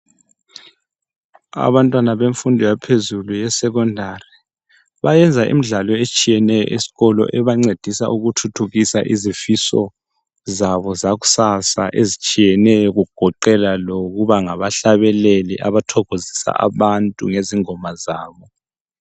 Abantwana bemfundo yaphezulu yesecondary bayenza imidlalo etshiyeneyo esikolo ebancedisa ukuthuthukisa izifiso zabo zakusasa ezitshiyeneyo kugoqeda lokuba ngabahlabeleli abathokizisa abantu bezingoma zabo.